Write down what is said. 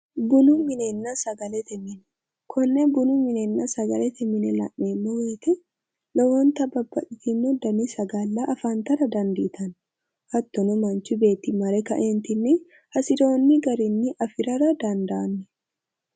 bunu minenna sagalete mine konne bununna sagalete mine la'neemmo woyte lowonta babbaxxtino dani sagale afantara dandittanno, manchu beetti mare kae hasirinore afi'ra dandanno